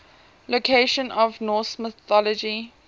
locations in norse mythology